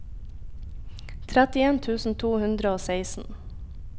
trettien tusen to hundre og seksten